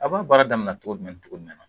A b'a baara daminɛ cogo jumɛn cogo minna?